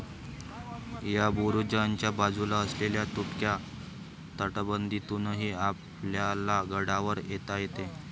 या बुरुजाच्या बाजूला असलेल्या तुटक्या तटबंदीतूनही आपल्याला गडावर येता येते